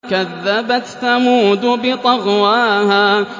كَذَّبَتْ ثَمُودُ بِطَغْوَاهَا